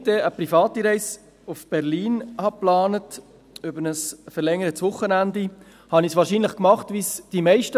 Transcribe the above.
Als ich eine private Reise für ein verlängertes Wochenende nach Berlin plante, machte ich es wie die Meisten: